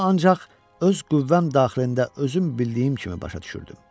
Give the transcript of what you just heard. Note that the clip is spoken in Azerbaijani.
Bunu ancaq öz qüvvəm daxilində özüm bildiyim kimi başa düşürdüm.